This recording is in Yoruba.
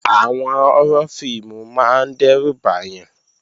Àwọn họ́rọ́ fíìmù máa ń dẹ́rù bàyàn